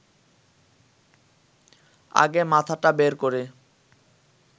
আগে মাথাটা বের করে